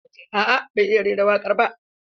A'a ban iya rera wakar ba.